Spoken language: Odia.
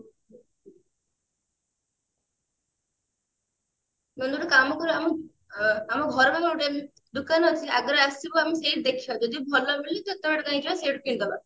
ନହେଲେ ଗୋଟେ କାମ କର ଆମ ଅ ଘର ପାଖ ଗୋଟେ ଦୋକାନ ଅଛି ଆଗରୁ ଆସିବୁ ଆମେ ସେଇଠି ଦେଖିବା ଯଦି ଭଲ ମିଳିବ ତ ଏତେ ବାଟା କାଇଁ କି ଯିବା ସେଇଠୁ କିଣିଦେବା